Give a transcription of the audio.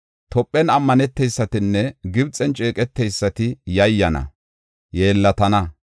Tophen ammaneteysatinne Gibxen ceeqeteysati yayyana; yeellatana.